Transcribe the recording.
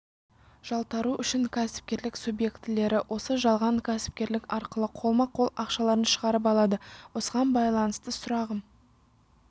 жалтару үшін кәсіпкерлік субъектілері осы жалған кәсіпкерлік арқылы қолма-қол ақшаларын шығарып алады осыған байланысты сұрағым